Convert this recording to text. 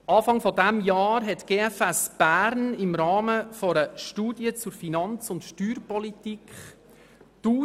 Anfang Jahr hat die Gfs.bern eine Studie zur Finanz- und Steuerpolitik erarbeitet.